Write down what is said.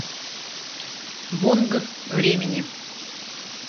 бонг времени